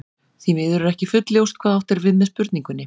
Því miður er ekki fullljóst hvað átt er við með spurningunni.